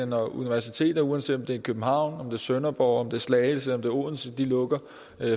når universiteter uanset om det er i københavn sønderborg slagelse eller odense lukker